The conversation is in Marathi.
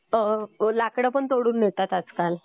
लाकडं पण तोडून नेतात आजकाल.